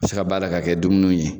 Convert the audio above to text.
se ka bayɛlɛ ka kɛ dumuniw ye.